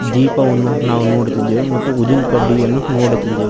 ದೀಪವನ್ನು ನಾವು ನೋಡುತ್ತಿದ್ದೇವೆ ಮತ್ತು ಉದ್ದಿನಕಡ್ಡಿಯನ್ನು ನೋಡುತ್ತಿದ್ದೇವೆ.